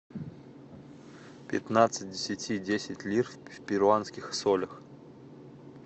пятнадцать десяти десять лир в перуанских солях